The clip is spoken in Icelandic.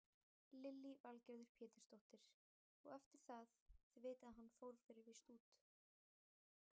Lillý Valgerður Pétursdóttir: Og eftir það, þið vitið að hann fór fyrir víst út?